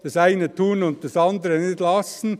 Das eine tun und das andere nicht lassen.